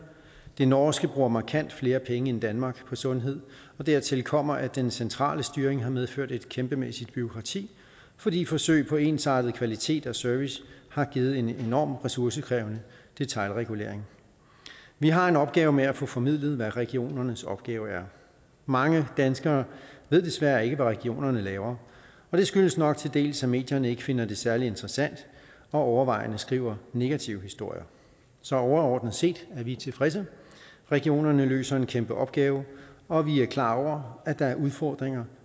det norske bruger markant flere penge end danmark på sundhed og dertil kommer at den centrale styring har medført et kæmpemæssigt bureaukrati fordi forsøg på ensartet kvalitet og service har givet en enormt ressourcekrævende detailregulering vi har en opgave med at få formidlet hvad regionernes opgave er mange danskere ved desværre ikke hvad regionerne laver og det skyldes nok til dels at medierne ikke finder det særlig interessant og overvejende skriver negative historier så overordnet set er vi tilfredse regionerne løser en kæmpe opgave og vi er klar over at der er udfordringer